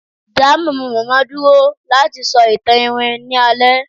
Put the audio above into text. da Mamamama dúró lati sọ awọn itan iwin ni alẹ